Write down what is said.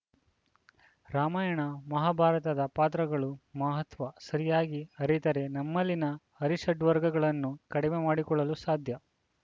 ರಾಮಾಯಣ ಮಹಾಭಾರತದ ಪಾತ್ರಗಳು ಮಹತ್ವ ಸರಿಯಾಗಿ ಅರಿತರೆ ನಮ್ಮಲ್ಲಿನ ಅರಿಷಡ್ವರ್ಗಗಳನ್ನು ಕಡಿಮೆ ಮಾಡಿಕೊಳ್ಳಲು ಸಾಧ್ಯ